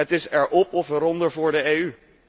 Het is erop of eronder voor de EU.